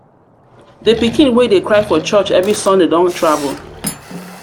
the pikin wey dey cry for church every sunday don travel